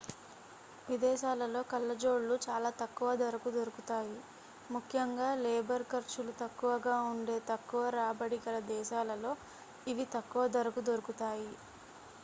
విదేశాలలో కళ్ళజోళ్ళు చాల తక్కువ ధరకు దొరుకుతాయి ముఖ్యంగా లేబర్ ఖర్చులు తక్కువగా ఉండే తక్కువ రాబడి గల దేశాలలో ఇవి తక్కువ ధరకు దొరుకుతాయి